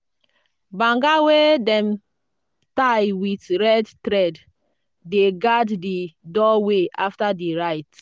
banga wey dem tie with red thread dey guard di doorway after di rite.